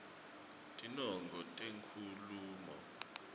tinongo tenkhulumo